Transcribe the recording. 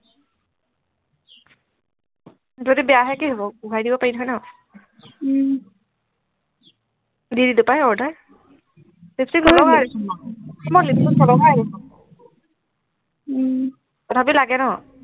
যদি বেয়া হয় কি হব ঘূৰাই দিব পাৰি নহয় ন উম দি দিলো পাই order লিপষ্টিক নলগাও দেখোন মই উম তথাপিও লাগে ন